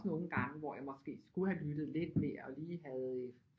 Nogle gange hvor jeg måske skulle have lyttet lidt mere og lige havde